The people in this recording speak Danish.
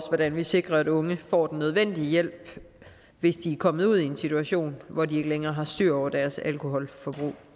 hvordan vi sikrer at unge får den nødvendige hjælp hvis de er kommet ud i en situation hvor de ikke længere har styr på deres alkoholforbrug